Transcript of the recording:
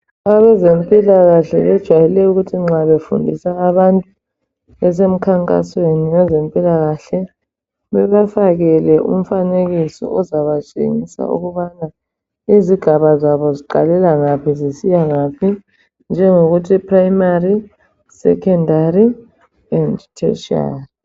Abezempilakahle bajwayele ukuthi nxa befundisa abantu besemkhankasweni wezempilakahle bebafakele umfanekiso ozabatshengisa ukubana izigaba zabo ziqalela ngaphi zisiya ngaphi njengokuthi Phuremari, "Sekhondari and Tertiary ".